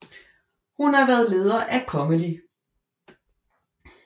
Hun har været leder af Kgl